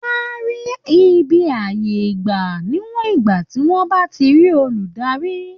Wọ́n á rí ibi àyè gbà níwọ̀n ìgbà tí wọ́n bá ti rí olùdarí